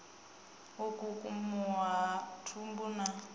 u kukumuwa ha thumbu na